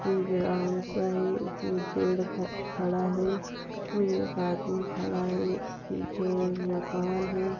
एक ग्राउंड सा है उसमे पेड़ ख-खड़ा है और एक आदमी खड़ा है पीछे मकान है।